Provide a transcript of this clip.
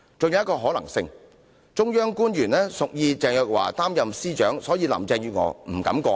還有一個可能性是，中央官員屬意鄭若驊擔任司長，所以林鄭月娥不敢過問。